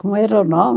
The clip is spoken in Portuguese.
Como era o nome?